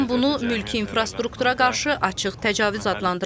Tehran bunu mülki infrastruktura qarşı açıq təcavüz adlandırıb.